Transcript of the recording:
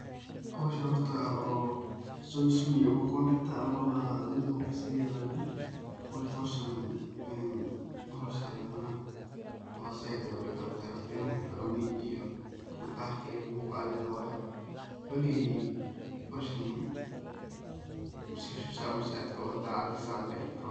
Howshan horto oo sawsiyu ama kondakta ama ba mid qurux sey u yeqanan marka howshan howl sahlan maahan oo zaid ayey u dib badan tahay horto waa innad firfirconi iyo daqaq iyo buq aa ledahay waye, wali howshan saa uma si adko saa adhi kadigato waye.